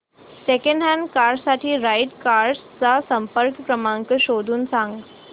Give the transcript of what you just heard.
second hand car साठी right cars चा संपर्क क्रमांक शोधून सांग